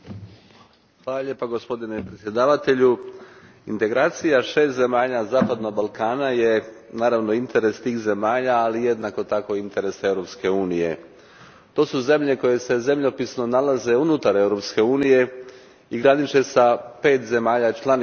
Gospodine predsjedniče, integracija šest zemalja zapadnog Balkana je naravno interes tih zemalja, ali jednako tako i interes Europske unije. To su zemlje koje se zemljopisno nalaze unutar Europske unije i graniče s pet zemalja članica Europske unije.